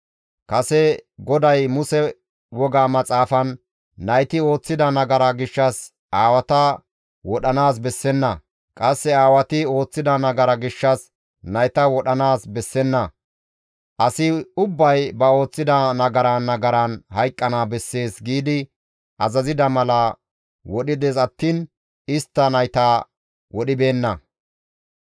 Kase GODAY Muse woga Maxaafaan, «Nayti ooththida nagara gishshas aawata wodhanaas bessenna; qasse aawati ooththida nagara gishshas nayta wodhanaas bessenna; asi ubbay ba ooththida nagaran nagaran hayqqanaas bessees» giidi azazida mala wodhides attiin istta nayta wodhibeenna.